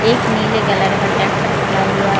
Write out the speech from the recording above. एक नीले कलर का ट्रेक्टर खड़ा हुआ--